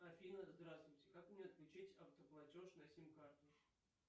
афина здравствуйте как мне отключить автоплатеж на сим карту